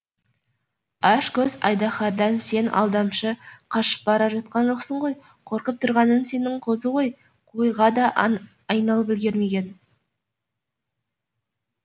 ашкөз айдаһардан сен алдамшы қашып бара жатқан жоқсың ғой қорқып тұрғаның сенің қозы ғой қойға да айналып үлгермеген